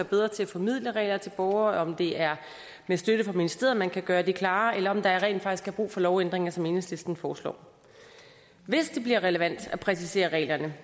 bedre til at formidle regler til borgere eller om det er med støtte fra ministeriet man kan gøre det klarere eller om der rent faktisk er brug for lovændringer som enhedslisten foreslår hvis det bliver relevant at præcisere reglerne